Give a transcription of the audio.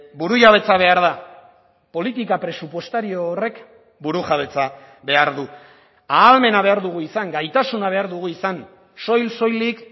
burujabetza behar da politika presupuestario horrek burujabetza behar du ahalmena behar dugu izan gaitasuna behar dugu izan soil soilik